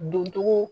Doncogo